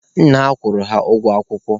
Nna ha kwụrụ ha ụgwọ akwụkwọ.